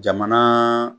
Jamana